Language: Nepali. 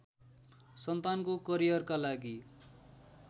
सन्तानको करियरका लागि